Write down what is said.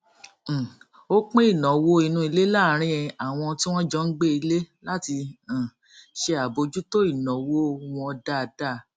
um ó pín ìnáwó inú ilé láàárín àwọn tí wọn jọ ń gbé ilé láti um ṣe àbójútó ìnáwó wọn dáadáa